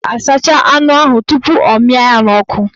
Ọ ga-asacha anụ ahụ tupu ọ mịa ya n'ọkụ